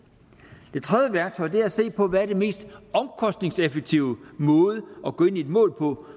det tredje værktøj er at se på hvad den mest omkostningseffektive måde at gå ind i et mål på